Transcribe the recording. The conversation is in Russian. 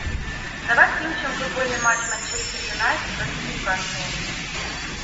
давай включим футбольный матч манчестер юнайтед против ньюкасла